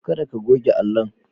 Kada ka goge allon.